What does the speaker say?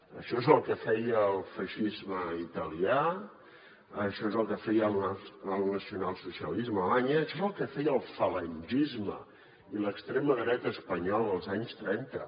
això és el que feia el feixisme italià això és el que feia el nacionalsocialisme a alemanya això és el que feia el falangisme i l’extrema dreta espanyola als anys trenta